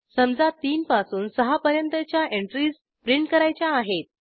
समजा 3पासून 6 पर्यंतच्या एंट्रीज प्रिंट करायच्या आहेत